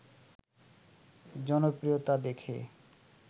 জনপ্রিয়তা দেখে